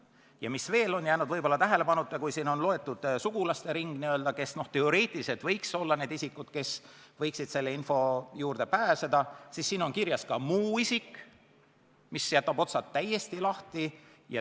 Ja mis veel on võib-olla jäänud tähelepanuta: siin on loetud üles sugulaste ring, kes teoreetiliselt võiks olla need isikud, kes võiksid selle info juurde pääseda, ning siin on kirjas ka "muu isik", mis jätab otsad täiesti lahti.